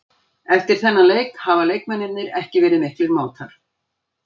Eftir þennan leik hafa leikmennirnir ekki verið miklir mátar.